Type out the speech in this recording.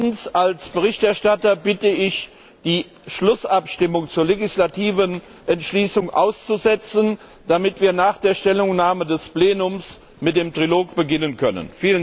Zweitens Als Berichterstatter bitte ich, die Schlussabstimmung zur legislativen Entschließung auszusetzen, damit wir nach der Stellungnahme des Plenums mit dem Trilog beginnen können.